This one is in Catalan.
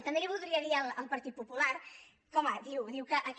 també li voldria dir al partit popular que home diu que aquest